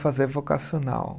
Fazer vocacional.